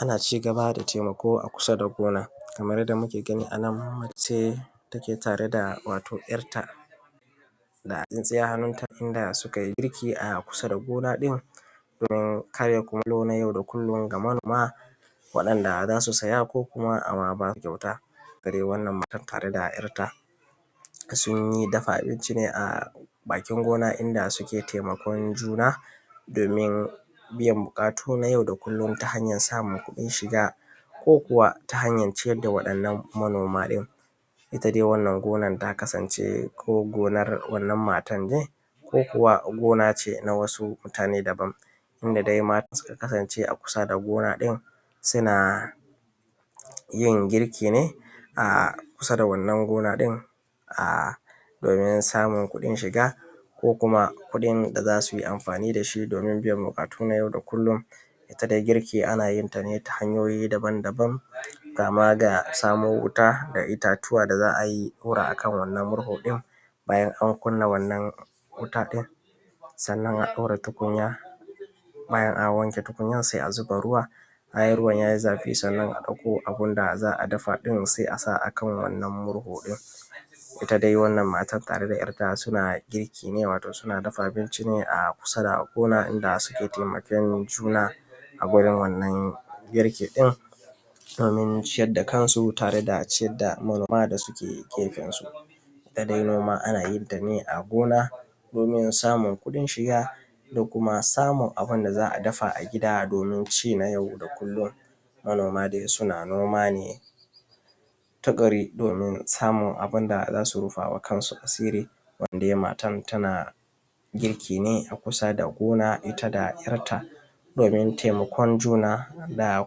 Ana cigaba da taimako a kusa da gona kamar yanda muke gani anan macece take tare wato da ‘ya’tta da tsintsiya a hannunta inda sukai wato girki a kusa da gona ɗin in kayakin yau da kullum ga manoma waɗan da zasu saya ko ama baka kyauta. Gadai wannan matan tare da ‘yar’ ta sun dafa abinci ne a bakin gona inda suke taimakon juna domin biyan buƙatu na ySau da kullum ta hanyan samun kuɗin shiga ko kuwa ta hanyan ciyar da waɗannan manoma ɗin. itta dai wannan gonar ta kasance ko gonar wannan matanne ko kuwa na wasu mutane daban, inda dai matan suka kasance a kusa da gona ɗin suna yin girki ne a kusa da wannan gona ɗin a domin samun kuɗin shiga ko kuma da zasuyi amfani dashi domin biyan buƙatu nay au da kullum. Itta dai girki anayin tane ta hanyoyi daban daban kama da samo wuta da ittatuwa da za’a hura akan wannan murhu ɗin bayan an kunna wannan wuta ɗin sannan a ɗora tukunya bayan an wanke tukunyan sai a zuba ruwa bayan ruwan yayi zafi sannan a ɗakko abunda za’a dafa sai a kan wannan murhu ɗin. Itta dai wannan matar da ‘yar’ ta sunayin girki ne, wato suna dafa abinci ne a kusa da gona da suke taimaken juna a kusa da wannan girki ɗin domin ciyar da kansu da kuma ciyar da manoma da suke gefen su. wannan dai nama a nayin ta a gona domin samun kuɗin shiga da kuma samun abunda za’a dafa a gida dominci na yau da kullum, manoma dai suna noma ne tukuru domin samun abunda zasu rufawa kansu asiri wannan dai matan tanagirki ne a kusa da gona itta da ‘yar’ta domin taimakon juna da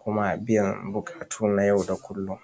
kuma biyan buƙatu na yau da kullum.